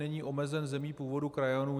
Není omezen zemí původu krajanů.